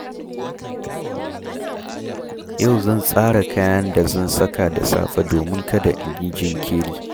Yau zan tsara kayan da zan saka da safe domin kada in yi jinkiri.